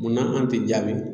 Munna an tɛ jaabi.